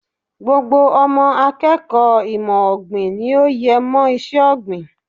Gbogbo ọmọ akẹ́kọ̀ọ́ ìmọ̀ ọ̀gbìn ni ó yẹ mọ iṣẹ́ ọ̀gbìn.